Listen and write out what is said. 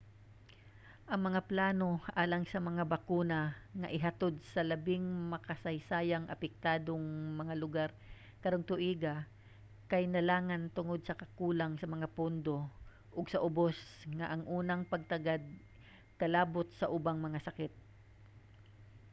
ang mga plano alang sa mga bakuna nga ihatod sa labing makasaysayang apektadong mga lugar karong tuiga kay nalangan tungod sa kakulang sa mga pondo ug sa ubos nga unang pagtagad kalabot sa ubang mga sakit